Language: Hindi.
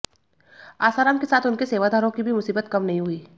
आसाराम के साथ उनके सेवादारों की भी मुसीबत कम नहीं हुई